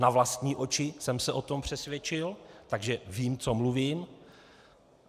Na vlastní oči jsem se o tom přesvědčil, takže vím, co mluvím.